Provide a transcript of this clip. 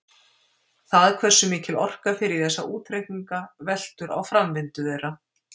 Það hversu mikil orka fer í þessa útreikninga veltur á framvindu þeirra.